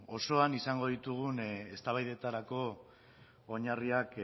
osoan izango ditugun eztabaidetarako oinarriak